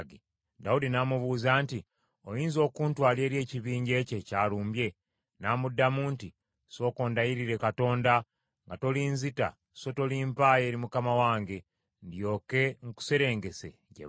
Dawudi n’amubuuza nti, “Oyinza okuntwala eri ekibinja ekyo ekyalumbye?” N’amuddamu nti, “Ssooka ondayirire Katonda, nga tolinzita so tolimpaayo eri mukama wange, ndyoke nkuserengese gye bali.”